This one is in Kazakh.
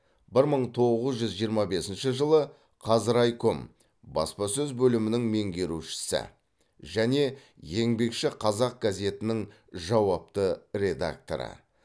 бір мың тоғыз жүз жиырма бесінші жылы қазрайком баспасөз бөлімінің меңгерушісі және еңбекші қазақ газетінің жауапты редакторы